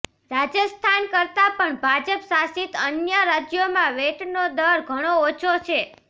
રાજસ્થાન કરતાં પણ ભાજપ શાસિત અન્ય રાજ્યોમાં વેટનો દર ઘણો અોછો છે